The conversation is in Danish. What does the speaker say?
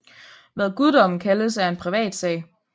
Hvad guddommen kaldes er en privat sag